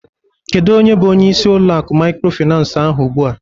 Kedu onye bụ onyeisi ulo akụ maykrofinans ahụ ugbua?